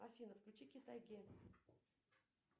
афина включи китай ге